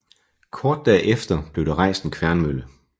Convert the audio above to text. Kort derefter blev der rejst en kværnmølle